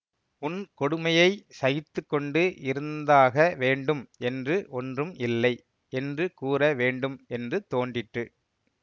உன் கொடுமையை சகித்து கொண்டு இருந்தாக வேண்டும் என்று ஒன்றும் இல்லை என்று கூற வேண்டும் என்று தோன்றிற்று